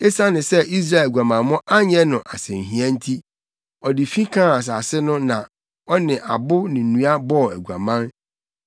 Esiane sɛ Israel aguamammɔ anyɛ no asɛnhia nti, ɔde fi kaa asase no na ɔne abo ne nnua bɔɔ aguaman.